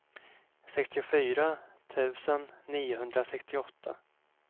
sextiofyra tusen niohundrasextioåtta